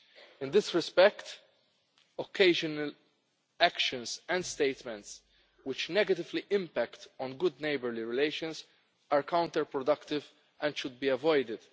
In this respect, occasional actions and statements which negatively impact on good neighbourly relations are counterproductive and should be avoided.